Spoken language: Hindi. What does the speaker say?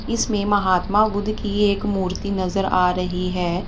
इसमें महात्मा बुद्ध की एक मूर्ति नजर आ रही है।